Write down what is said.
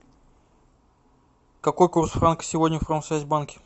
какой курс франка сегодня в промсвязьбанке